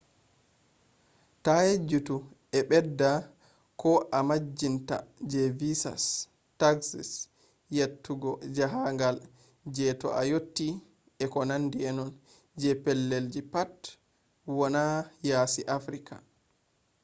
ta yejjutu a ɓedda ko a majjinta je visas taxes yottugo jahangal je ta a yotti etc. je pellelji pat wani yasi africa